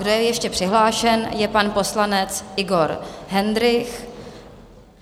Kdo je ještě přihlášen, je pan poslanec Igor Hendrych.